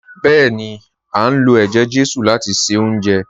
Bẹ́ẹ̀ni, a ń lo ẹjẹ-jesu láti ṣe oúnjẹ